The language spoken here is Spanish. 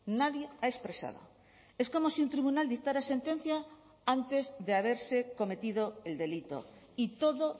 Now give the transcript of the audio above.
nadie ha expresado es como si un tribunal dictara sentencia antes de haberse cometido el delito y todo